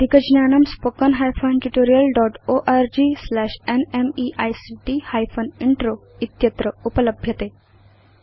अस्य अधिकज्ञानम् spoken hyphen tutorial dot org slash nmeict hyphen intro इत्यत्र उपलभ्यते